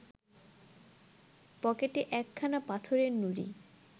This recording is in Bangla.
পকেটে একখানা পাথরের নুড়ি